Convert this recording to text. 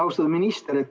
Austatud minister!